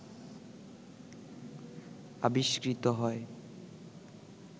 আবিস্কৃত হয়